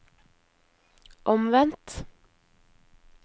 omvendt